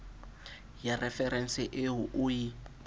ya referense eo o e